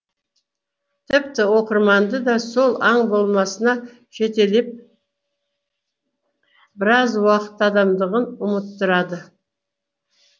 тіпті оқырманды да сол аң болмысына жетелеп біраз уақыт адамдығын ұмыттырады